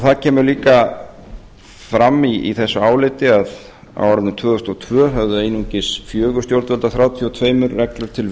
það kemur líka fram i þessu áliti að á árinu tvö þúsund og tvö höfðu einungis fjögur stjórnvöld af þrjátíu og tvær reglur til